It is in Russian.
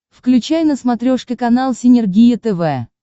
включай на смотрешке канал синергия тв